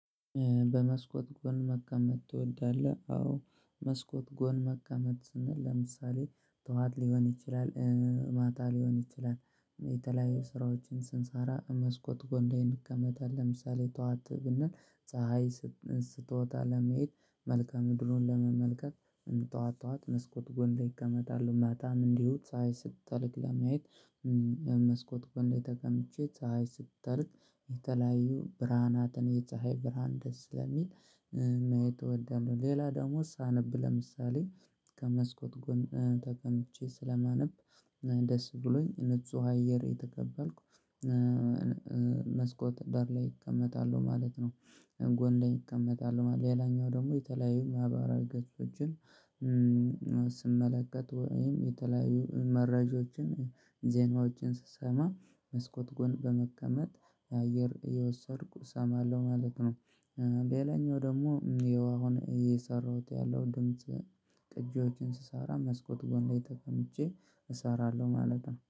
በመስኮት ጎን መቀመጥ ትወዳለህ አዎ መስኮት ጎን መቀመጥ ስንል ለምሳሌ ጠዋት ሊሆን ይችላል ማታ ሊሆን ይችላል የተለያዩ ስራዎችን ስንሰራ መስኮት ጎን ላይ እንቀመጣለን ለምሳሌ ጠዋት ብንል ፀሀይ ስትወጣ ለማየት መልከአ ምድሩን ለመመልከት ጠዋት ጠዋት መስኮት ጎን ላይ እቀመጣለው ማታም እንዲሁ ፀሀይ ስትጠልቅ ለማየት ከመስኮት ጎን ላይ ተቀምጬ ፀሀይ ስጠልክ የተለያዩ ብርሃናትን የፀሀይ ብርሃን ደስ ስለሚል ማየት እወዳለሁ ሌላ ደግሞ ሳነብ ለምሳሌ ከመስኮት ጎን ተቀምጬ ስለማነብ ደስ ብሎኝ ንጹህ አየር እየተቀበልኩ መስኮት ዳር ላይ እቀመጣለው ማለት ነው ጎን ላይ እቀመጣለው ሌላኛው ደግሞ የተለያዩ ማህበራዊ ገጾችን ስመለከት ወይም የተለያዩ መረጃዎችን ዜናዎችን ስሰማ መስኮት ጎን በመቀመጥ አየር እየወሰድኩ እሰማለሁ ማለት ነው። ሌላኛው ደግሞ ይኸው አሁን እየሰራሁት ያለው ድምጽ ቅጂዎችን ስሰራ መስኮት ጎን ላይ ተቀምጬ እሰራለሁ ማለት ነው።